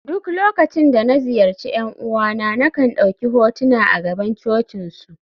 duk lokacin da na ziyarci ’yan uwana, na kan dauki hotuna a gaban cocinsu